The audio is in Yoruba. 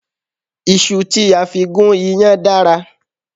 Iṣu tí a fi gún iyán dára